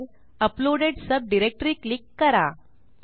uploaded sub directoryक्लिक करा